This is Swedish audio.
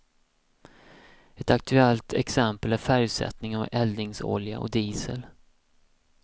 Ett aktuellt exempel är färgsättningen av eldningsolja och diesel.